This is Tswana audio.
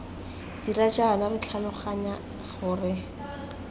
dira jaana re tlhaloganya gore